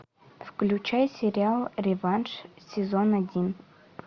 включай сериал реванш сезон один